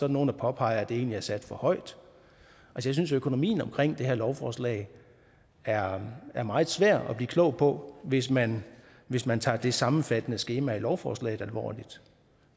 nogle der påpeger at det egentlig er sat for højt jeg synes at økonomien omkring det her lovforslag er er meget svær at blive klog på hvis man hvis man tager det sammenfattende skema i lovforslaget alvorligt